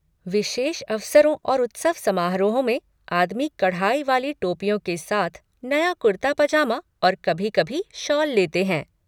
विशेष अवसरों और उत्सव समारोहों में आदमी कढ़ाई वाली टोपियों के साथ नया कुर्ता पजामा और कभी कभी शॉल लेते हैं।